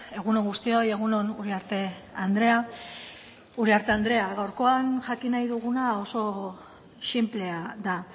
egun on guztioi egun on uriarte andrea uriarte andrea gaurkoan jakin nahi duguna oso sinplea da